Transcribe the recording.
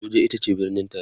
Abuja itace birnin taraya